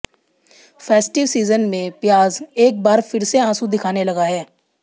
festive season में प्याज एक बार फिर से आंसू दिखाने लगा है